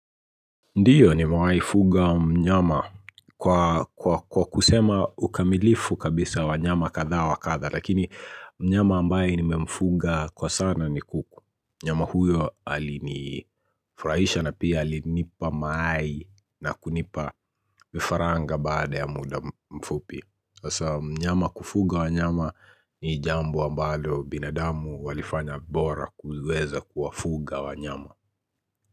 Ndiyo, nime wahii fuga mnyama kwa kusema ukamilifu kabisa wanyama kadhaa wa kadhaa. Lakini mnyama ambaye nimemfuga kwa sana ni kuku. Mnyama huyo alinifurahisha na pia alinipa mayai na kunipa vifaranga baada ya muda mfupi. Sasa kufuga wanyama ni jambo ambalo binadamu walifanya bora kuweza kuwafuga wanyama.